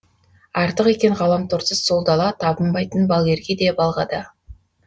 артық екен ғаламторсыз сол дала табынбайтын балгерге де балға да